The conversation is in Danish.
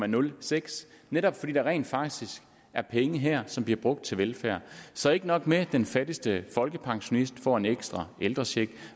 nul seks netop fordi der rent faktisk er penge her som bliver brugt til velfærd så ikke nok med at den fattigste folkepensionist får en ekstra ældrecheck